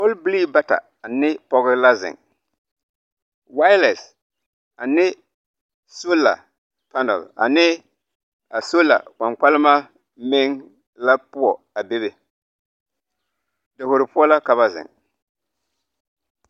Pɔlbilii bata ane pɔge la zeŋ walɛnse ane sola panɛl ane a sola kpankpalema meŋ la poɔ a bebe davoro poɔ la ka ba zeŋ.